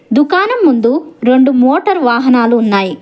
దుకాణం ముందు రొండు మోటార్ వాహనాలు ఉన్నాయి.